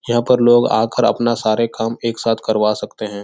यहाँ पर लोग आकर अपना सारे काम एक साथ करवा सकते हैं।